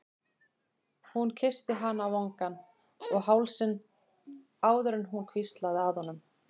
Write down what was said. Hún kyssti hann á vangann og hálsinn áður en hún hvíslaði að honum